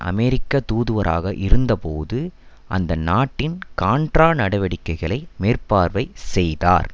அமெரிக்க தூதுவராக இருந்த போது அந்த நாட்டில் கான்ட்ரா நடவடிக்கைகளை மேற்பார்வை செய்தார்